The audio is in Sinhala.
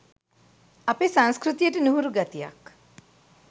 අපේ සංස්කෘතියට නුහුරු ගතියක්